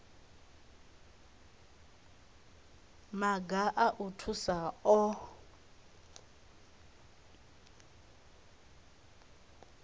maga a u thusa o